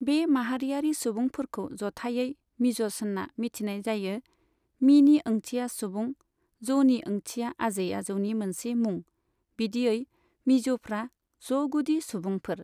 बे माहारियारि सुबुंफोरखौ जथाइयै मिज'स होनना मिथिनाय जायो, मीनि ओंथिया सुबुं, ज'नि ओंथिया आजै आजौनि मोनसे मुं, बिदियै मिज'फ्रा ज'गुदि सुबुंफोर।